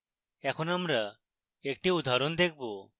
এখন আমরা একটি উদাহরণ দেখব